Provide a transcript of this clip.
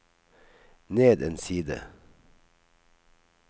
ned en side